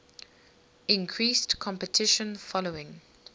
increased competition following